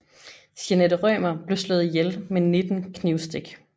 Jeanette Rømer blev slået ihjel med 19 knivstik